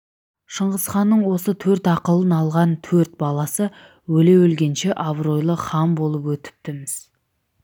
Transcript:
шыңғысханның осы төрт ақылын алған төрт баласы өле-өлгенше абыройлы хан болып өтіпті-міс